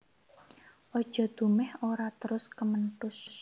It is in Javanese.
Aja dumèh ora terus kementhus